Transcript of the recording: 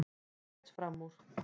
Fer fram úr.